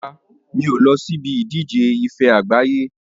Rárá, mi ò lọ síbi ìdíje ife ẹyẹ àgbáyé.